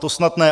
To snad ne.